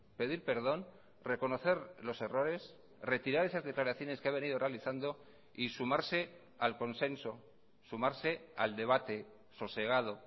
pedir perdón reconocer los errores retirar esas declaraciones que ha venido realizando y sumarse al consenso sumarse al debate sosegado